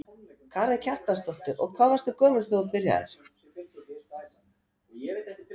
Karen Kjartansdóttir: Og hvað varstu gömul þegar þú byrjaðir?